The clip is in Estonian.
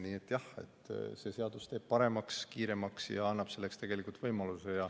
Nii et jah, see seadus teeb paremaks ja kiiremaks ning annab selleks tegelikult võimaluse.